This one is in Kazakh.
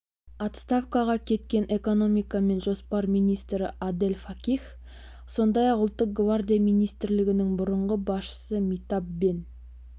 отставкаға кеткен экономика мен жоспарлау министріадель факих сондай-ақ ұлттық гвардия министрлігінің бұрынғы басшысы митаб бен